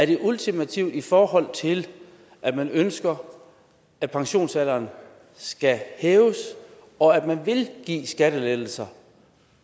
det er ultimativt i forhold til at man ønsker at pensionsalderen skal hæves og at man vil give skattelettelser